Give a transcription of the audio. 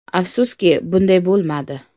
Afsuski bunday bo‘lmadi.